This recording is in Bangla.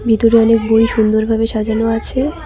ভিতরে অনেক বই সুন্দর ভাবে সাজানো আছে।